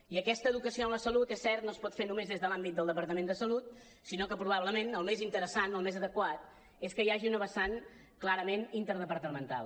i aquesta educació en la salut és cert no es pot fer només des de l’àmbit del departament de salut sinó que probablement el més interessant el més adequat és que hi hagi una vessant clarament interdepartamental